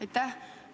Aitäh!